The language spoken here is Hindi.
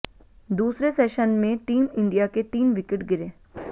दूसरे सेशन में टीम इंडिया के तीन विकेट गिरे